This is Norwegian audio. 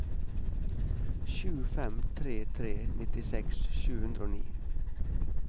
sju fem tre tre nittiseks sju hundre og ni